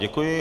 Děkuji.